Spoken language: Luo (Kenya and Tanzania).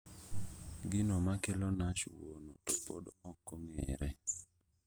Gino makelo NASH wuono to pod okong'ere